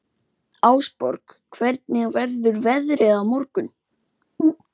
Ásborg, hvernig verður veðrið á morgun?